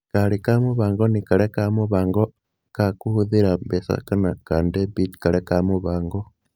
Kaarĩ ka mũbango nĩ karĩa ka mũbango ka kũhũthĩra mbeca kana ka debit karĩa ka mũbango.